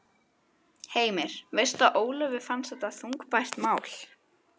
Heimir: Veistu að Ólöfu fannst þetta þungbært mál?